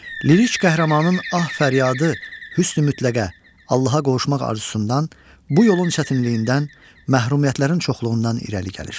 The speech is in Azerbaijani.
Lirik qəhrəmanının ah-fəryadı hüsn-i mütləqə, Allaha qovuşmaq arzusundan, bu yolun çətinliyindən, məhrumiyyətlərin çoxluğundan irəli gəlir.